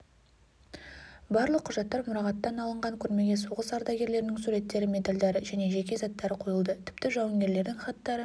барлық құжаттар мұрағаттан алынған көрмеге соғыс ардагерлерінің суреттері медальдары және жеке заттары қойылды тіпті жауынгерлердің хаттары